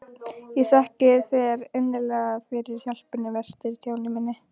Ég þakka þér innilega fyrir hjálpina í vetur, Stjáni minn.